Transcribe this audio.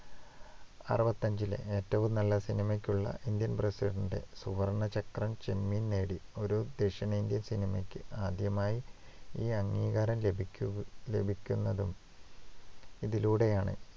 അറുപത്തിയഞ്ചിലെ ഏറ്റവും നല്ല സിനിമയ്കുള്ള Indian president ഇന്‍റെ സുവർണ്ണ ചക്രം ചെമ്മീൻ നേടി. ഒരു ദക്ഷിണേന്ത്യൻ സിനിമയ്ക്ക് ആദ്യമായി ഈ അംഗീകാരം ലഭിക്കു~ ലഭിക്കുന്നതും ഇതിലൂടെയാ‍ണ്